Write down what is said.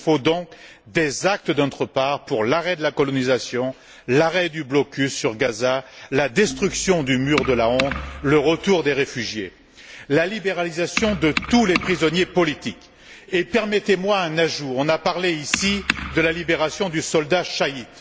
Il faut donc des actes de notre part pour obtenir l'arrêt de la colonisation, la levée du blocus sur Gaza, la destruction du mur de la honte, le retour des réfugiés, la libération de tous les prisonniers politiques. Permettez moi un ajout. On a parlé ici de la libération du soldat Shalit.